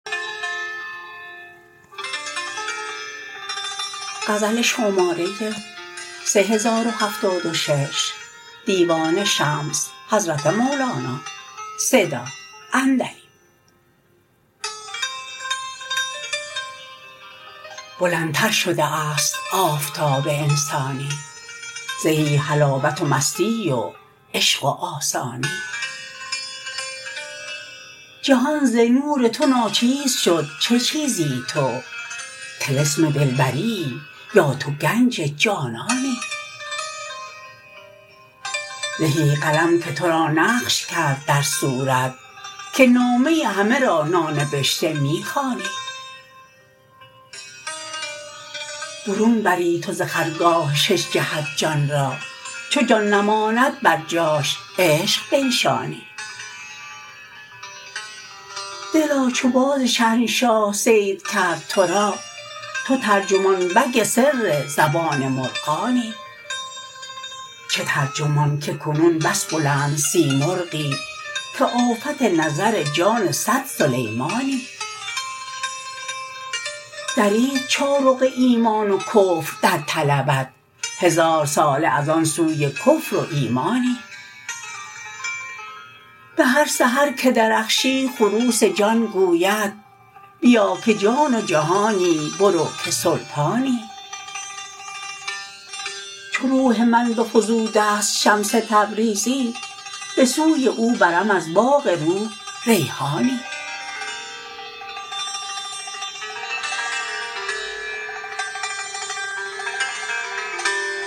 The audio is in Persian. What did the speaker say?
بلندتر شده ست آفتاب انسانی زهی حلاوت و مستی و عشق و آسانی جهان ز نور تو ناچیز شد چه چیزی تو طلسم دلبری یی یا تو گنج جانانی زهی قلم که تو را نقش کرد در صورت که نامه همه را نانبشته می خوانی برون بری تو ز خرگاه شش جهت جان را چو جان نماند بر جاش عشق بنشانی دلا چو باز شهنشاه صید کرد تو را تو ترجمان بگ سر زبان مرغانی چه ترجمان که کنون بس بلند سیمرغی که آفت نظر جان صد سلیمانی درید چارق ایمان و کفر در طلبت هزارساله از آن سوی کفر و ایمانی به هر سحر که درخشی خروس جان گوید بیا که جان و جهانی برو که سلطانی چو روح من بفزوده ست شمس تبریزی به سوی او برم از باغ روح ریحانی